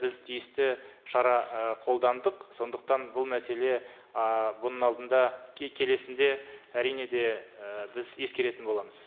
біз тиісті шара ы қолдандық сондықтан бұл мәселе ы бұның алдында келесінде әрине де і біз ескеретін боламыз